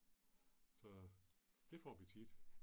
Så. Det får vi tit